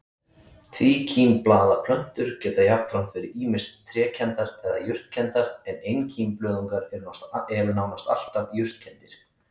Tvíkímblaða plöntur geta jafnframt verið ýmist trékenndar eða jurtkenndar en einkímblöðungar eru nánast alltaf jurtkenndir.